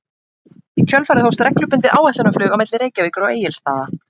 Í kjölfarið hófst reglubundið áætlunarflug á milli Reykjavíkur og Egilsstaða.